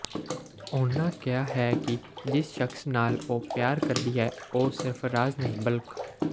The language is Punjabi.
ਉਨ੍ਹਾਂ ਕਿਹਾ ਹੈ ਕਿ ਜਿਸ ਸ਼ਖ਼ਸ ਨਾਲ ਉਹ ਪਿਆਰ ਕਰਦੀ ਹੈ ਉਹ ਸਰਫ਼ਰਾਜ਼ ਨਹੀਂ ਬਲਕ